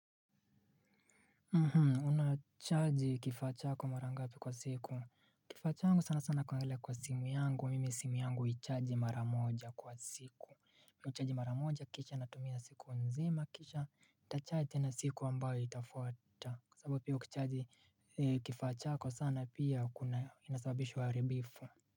Una chaji kifaa chako mara ngapi kwa siku? Kifaa changu sana sana kuangalia kwa simu yangu mimi simu yangu huichaji mara moja kwa siku. Huchaji mara moja kisha natumia siku nzima kisha nitachaji tena siku ambayo itafuata. Kwa sababu hio kuchaji kifaa chako sana pia inasababisha uharibifu.